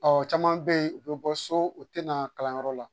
Ɔ caman bɛ yen u bɛ bɔ so u tɛ na kalanyɔrɔ la